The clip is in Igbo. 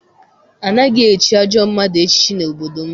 Anaghị echi ajọ mmadụ echichi n'obodo m.